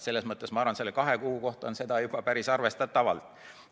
Selles mõttes ma arvan, et selle kahe kuu kohta on seda juba päris arvestatavalt.